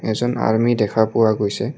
এজন আৰ্মী দেখা পোৱা গৈছে।